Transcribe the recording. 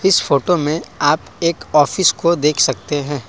इस फोटो में आप एक ऑफिस को देख सकते हैं।